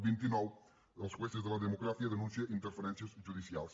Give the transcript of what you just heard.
vint i nou els jueces de la democracia denuncien interferències judicials